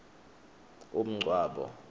umngcwabo